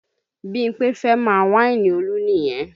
Bímpé fẹ́ máa wáìnì Olú nìyẹn